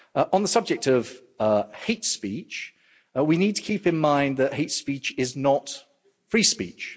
On the subject of hate speech, we need to keep in mind that hate speech is not free speech.